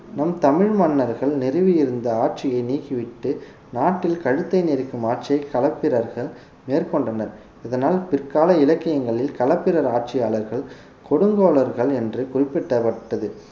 நம் தமிழ் மன்னர்கள் நிறுவி இருந்த ஆட்சியை நீக்கிவிட்டு நாட்டில் கழுத்தை நெரிக்கும் ஆட்சியை களப்பிரர்கள் மேற்கொண்டனர் இதனால் பிற்கால இலக்கியங்களில் களப்பிரர் ஆட்சியாளர்கள் கொடுங்கோலர்கள் என்று குறிப்பிடபட்டது